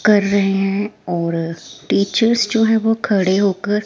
कर रहे हैं और टीचर्स जो हैं वो खड़े होकर--